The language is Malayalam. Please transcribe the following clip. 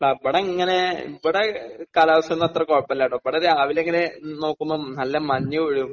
അവിടെ അങ്ങനെ ഇവിടെ കാലാവസ്ഥയൊന്നും അത്ര കുഴപ്പമില്ലാട്ടോ. ഇവിടെ രാവിലെ ഇങ്ങനെ നോക്കുമ്പോൾ നല്ല മഞ്ഞ് വീഴും.